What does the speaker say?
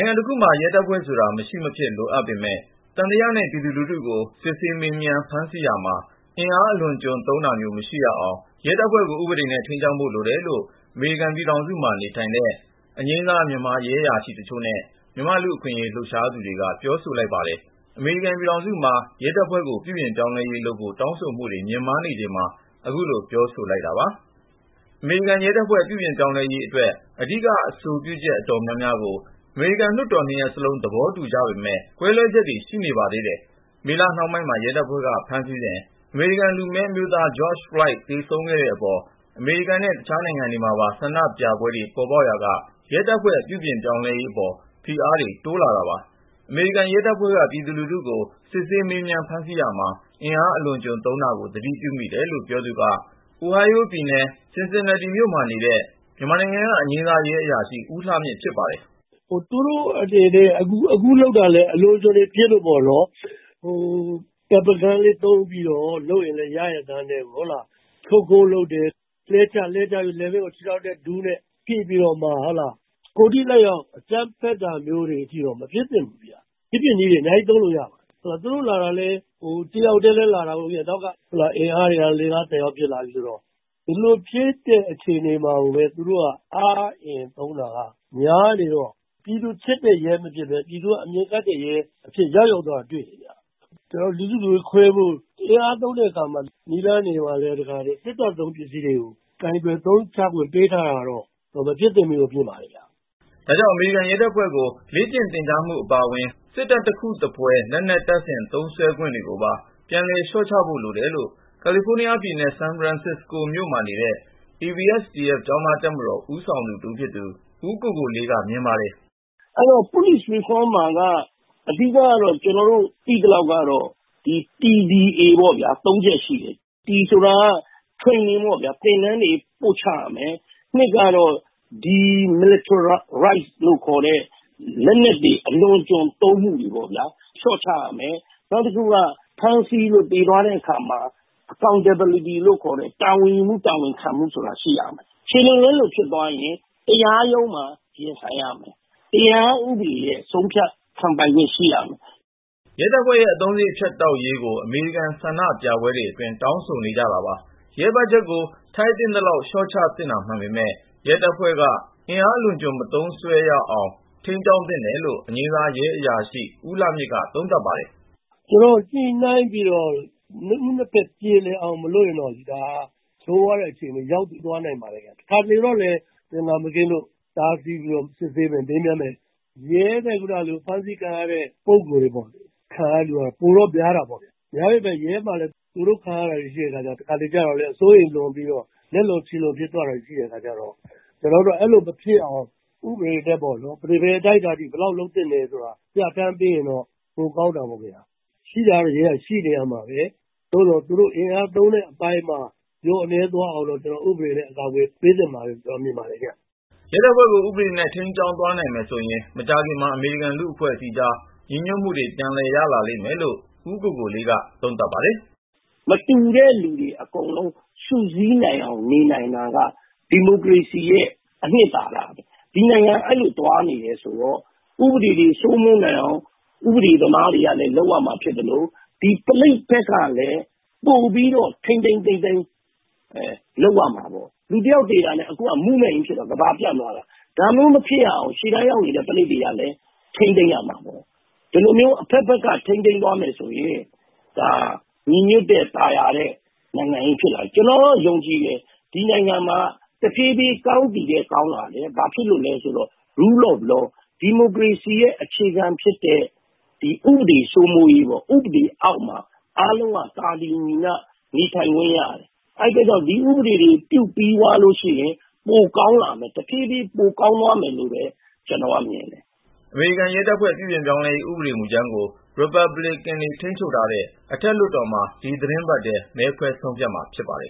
င်ငံတခုမှာ ရဲတပ်ဖွဲ့ဆိုတာ မရှိမဖြစ်လိုအပ်ပေမယ့် သံသယနဲ့ ပြည်သူလူထုကို စစ်ဆေးမေးမြန်း ဖမ်းဆီးရာမှာ အင်အား အလွန်အကျွံ သုံးတာမျိုး မရှိရအောင် ရဲတပ်ဖွဲ့ကို ဥပဒေနဲ့ ထိန်းကျောင်းဖို့ လိုတယ်လို့ အမေရိကန် ပြည်ထောင်စုမှာ နေထိုင်တဲ့ အငြိမ်းစား မြန်မာ ရဲအရာရှိတချို့နဲ့ လူ့အခွင့်အရေး လှုပ်ရှားသူတွေက ပြောဆိုပါတယ်။ အမေရိကန်ပြည်ထောင်စုမှာ ရဲတပ်ဖွဲ့ကို ပြုပြင်ပြောင်းလဲရေးလုပ်ဖို့ တောင်းဆိုမှုတွေ မြင့်မားနေချိန်မှာ အခုလို ပြောဆိုကြတဲ့ အကြောင်းကို တင်ပြချင်ပါတယ်။ကို ဉာဏ်ဝင်းအောင်က ပြောပြပေးမှာပါ။ အမေရိကန်ရဲတပ်ဖွဲ့ ပြုပြင်ပြောင်းလဲရေးအတွက် အဓိက အဆိုပြုချက် အတော်များများကို အမေရိကန် လွှတ်တော်နှစ်ရပ်စလုံး သဘောတူကြပေမယ့် ကွဲလွဲချက်တွေလည်း ရှိနေပါတယ်။ မေလ နှောင်းပိုင်းမှာ ရဲတပ်ဖွဲ့က ဖမ်းဆီးစဉ် အမေရိကန် လူမည်းအမျိုးသား George Floyd သေဆုံးခဲ့တဲ့အပေါ် မကျေနပ်တာကြောင့် အမေရိကန်နဲ့ တခြားနိုင်ငံတွေမှာပါ ဆန္ဒပြပွဲတွေ ပေါ်ပေါက်ခဲ့ရာက ရဲတပ်ဖွဲ့ပြုပြင်ပြောင်းလဲရေး ဖိအားလည်း တိုးလာခဲ့တာပါ။ အမေရိကန် ရဲတပ်ဖွဲ့က ပြည်သူလူထုကို စစ်ဆေးမေးမြန်း ဖမ်းဆီးရာမှ အင်အား အလွန်အကျွံသုံးတာကို သတိပြုမိတယ်လို့ ပြောသူက အိုဟိုင်းယိုးပြည်နယ် Cincinnati မြို့မှာနေတဲ့ မြန်မာနိုင်ငံက အငြိမ်းစား ရဲအရာရှိ ဦးလှမြင့် ဖြစ်ပါတယ်။ " အမေရိကန် ရဲတွေကလည်း သူတို့လုပ်တာ အလွန်အကျွံ ဖြစ်လို့ပေါ့နော် ၊ Pepper Gun လေးသုံးပြီးတော့ လုပ်ရင်လည်း ရရဲ့သားနဲ့ လူတယောက်ကို လှဲချ ၊ လှဲချပြီး လည်ပင်းကို ဒူးနဲ့ ခြေထောက်နဲ့ တက်ဖိပြီးတော့မှ ကိုယ်ထိလက်ရောက် အကြမ်းဖက်တာမျိုးတွေအထိ မဖြစ်သင့်ဘူးဗျ ။ အခြားနည်းတွေ အများကြီးသုံးလို့ ရပါတယ်။ ရဲတွေ သူတို့လာရင်လည်း တယောက်ထဲလာတာ မဟုတ်ဘူး Back up တွေပါလာတယ်၊ အင်အားတွေက ၄-၅- ၁၀ ယောက်ဖြစ်လာတာ ဆိုတော့ ဒီလိုဖြစ်တဲ့ အခြေအနေမှာကိုပဲ သူတို့က အားအင် သုံးတာကများနေတော့ ပြည်သူချစ်တဲ့ ရဲမဖြစ်တော့ပဲ ပြည်သူကအမြင်ကပ်တဲ့ ရဲအဖြစ်ကို ရောက်ရောက်သ ွားတာ တေ့ွရတယ် ။ လူစုလူဝေးခွဲဖို့ အင်အားသုံးတဲ့အခါမှာ စစ်တပ်သုံးတဲ့ ပစ္စည်းတွေကို ကိုင်တွယ် အသုံးချခွင့် ပေးထားတာကတော့ မဖြစ်သင့်ဘူးလို့ ထင်ပါတယ်။ " ဒါကြောင့် အမေရိကန် ရဲတပ်ဖွဲ့ကို လေ့ကျင့်သင်ကြားမှုတွေအပါအဝင် စစ်တပ်တခုသဖွယ် လက်နက်တပ်ဆင် သုံးစွဲခွင့်တွေ ကိုပါ ပြန်လည်လျော့ချဖို့ လိုတယ်လို့ ကာလီဖိုးနီးယားပြည်နယ် ဆန်ဖရန်စ္စကိုမြို့နေ ABSDF ကျောင်သားတပ်မတော် ပြန်ကြားရေး အတွင်းရေးမှူးဟောင်း ဦးကိုကိုလေးက မြင်ပါတယ်။ " အဲဒီတော့ ကျနော်တို့သိသလောက် ပြုပြင်ပြောင်းလဲရေး Police Reform မှာက အဓိက T-D-A ပေါ့ဗျာ ၃ ချက်ရှိတယ်။ T ဆိုတာက Training ပေါ့ဗျာ သင်တန်းတွေ ပို့ချရမယ်၊ နောက်တခု D ကတော့ Demilitarization ပေါ့ဗျာ လက်နက်အလွန်အကျွံ သုံးတာကို လျှော့ချရေးပေါ့ဗျာ၊ နောက်တခုက ဖမ်းဆီးလို့ သေသွားတဲ့အခါမှာ Accountability လို့ခေါ်တဲ့ တာဝန်ယူမှု တာဝန်ခံမှုဆိုတာ ရှိရမယ်။ ခြေလွန်လက်လွန် ဖြစ်သွားရင် တရားရုံးမှာရင်ဆိုင်ရမယ်.. တရားဥပဒေရဲ့ ဆုံးဖြတ်ခံပိုင်ခွင့် ရှိရမယ် " အမေရိကန် ဆန္ဒပြပွဲတွေ အတွင်း ရဲတပ်ဖွဲ့ရဲ့ အသုံးစရိတ်ဖြတ်တောက်ရေးကိုလည်း တောင်းဆိုနေကြတာပါ။ ရဲ ဘတ်ဂျက်ကို ထိုက်သင့်သလောက် လျှော့ချသင့်တာ မှန်ပေမဲ့ ရဲတပ်ဖွဲ့က အင်အားအလွန်အကျွံ မသုံစွဲရေးအတွက် ထိန်းကျောင်းသင့်တယ်လို့ အငြိမ်းစားရဲအရာရှိ ဦးလှမြင့်က သုံးသပ်ပါတယ်။ " ညှိနှိုင်းပြီး နှစ်ဦးနှစ်ဖက် ပြေလည်အောင် မလုပ်ဘူးဆိုရင်တော့ ဆိုးဝါးတဲ့အခြေအနေဘက် ရောက်သွား နိုင်ပါတယ်။ တခါတလေမှာ သင်္ကာမကင်းလို့ တားဆီးပြီး မေးမြန်းမယ် စစ်ဆေးမယ် လုပ်တဲ့အခါမှာ ရဲရဲ့ဖမ်းဆီးခံရတဲ့ ပုဂ္ဂိုလ်တွေမှာ ခံရတာက ပိုတော့များတာပေါ့လေ ၊ များပေမဲ့လည်း ရဲမှာလည်း သူတို့ခံရတာတွေ ရှိတဲ့အခါကျတော့ တခါတလေကျတော့လည်း အစိုးရိမ်လွန်ပြီး လက်လွန်ခြေလွန်တွေ ဖြစ်သွားတာ ရှိတဲ့အခါကျတော့.. အဲလို မဖြစ်ရအောင် ဥပဒေနဲ့ပေါ့နော် ရဲက ဘယ်အတိုင်းအတာအထိ ဘယ်လောက် လုပ်သင့်တယ်ဆိုတာ ပြဌာန်းပေးရင်တော့ ပိုကောင်းတာပေါ့။ ရဲတပ်ဖွဲ့ဆိုတာ ရှိတာက ဆက်ရှိနေရမှာပဲ သို့သော် သူတို့အင်အားသုံးတဲ့ အပိုင်းမှာ လျော့နည်းသွားအောင်လို့ ဥပဒေနဲ့ အကာအကွယ် ပေးသင့်တယ်လို့ ကျနော်မြင်ပါတယ် ခင်ဗျ။ " ရဲတပ်ဖွဲ့ကို ဥပဒေနဲ့ ထိန်းကျောင်းသွားနိုင်မယ်ဆိုရင် မကြာခင်မှာ အမေရိကန်လူ့အဖဲ့ွအစည်းကြား ညီညတွ်မှုတွေ ပြန်ရလာလိမ့်မယ်လို့ ဦးကိုကိုလေးက ပြောပါတယ်။ " မတူတဲ့လူတွေ အကုန်လုံး စုစည်းနေနိုင်တာက ဒီမိုကရေစီရဲ့ အနှစ်သာရပဲ၊ ဒီနိုင်ငံက အဲဒီလို သွားနေတာဆိုတော့ ဥပဒေတွေ စိုးမိုးနိုင်အောင် ဥပဒေသမားတွေက လုပ်ရမှာ ဖြစ်သလို၊ ဒီရဲတွေ ဘက်ကလည်း ပိုပြီးတော့ ထိန်းထိန်းသိမ်းသိမ်း လုပ်ရမှာပေါ့။ လူတယောက် သေတာနဲ့တင် လှုပ်ရှားမှုကြီး ပေါ်လာတယ်၊ ကမ္ဘာကို ပျံ့သွားတယ် ဒါမျိုးမဖြစ်ရအောင် ရှေ့တန်းရောက်နေတဲ့ ရဲတွေကလည်း ထိန်းသိမ်းရမှာ။ ဒီလိုမျိုး အဖက်ဖက်က ထိန်းသိမ်းသွားမယ်ဆိုရင် ညီညွတ်တဲ့ သာယာတဲ့ နိုင်ငံကြီးဖြစ်လာမယ်၊ ကျနော်တော့ ယုံကြည်ပါတယ် ဒီနိုင်ငံမှာ တဖြည်းဖြည်း ကောင်းသည်ထက် ကောင်းလာမယ်။ ဘာလို့လဲ ဆိုတော့ “Rule of law” ဒီမိုကရေစီရဲ့ အခြေခံဖြစ်တဲ့ ဥပဒေစိုးမိုးရေးပေါ့.. ဥပဒေအောက်မှာ အားလုံးဟာ သာတူညီမျှ နေထိုင်ခွင့်ရတယ်၊ အဲဒါကြောင့် ဒီဥပဒေတွေ ပြုပြီးသ ွားလို့ရှိရင် တဖြည်းဖြည်း ပိုကောင်းသွားမယ်လို့ ကျနော်မြင်ပါတယ်။ " အမေရိကန်ရဲတပ်ဖွဲ့ ပြုပြင်ပြောင်းလဲရေး ဥပဒမေူကြမ်းကို ရီပတ်ဘလစ်ကန်တွေ ထိန်းချုပ်ထားတဲ့ အထက်လွှတ်တော်မှာ ဒီသတင်းပတ်ထဲ မဲခွဲဆုံးဖြတ်မှာ ဖြစ်ပါတယ်